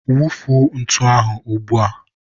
wufuo ntu ahụ ugbua!